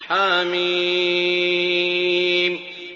حم